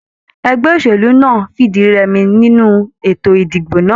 Ẹgbẹ́ òṣèlú náà fìdírẹmi nínú ètò ìdìbò náà.